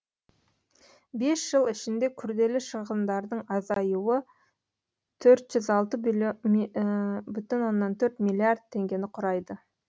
бес жыл ішінде күрделі шығындардың азаюы төрт жүз алты бүтін оннан төрт миллиард теңгені құрайды